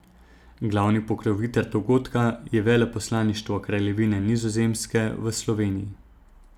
Glavni pokrovitelj dogodka je Veleposlaništvo Kraljevine Nizozemske v Sloveniji.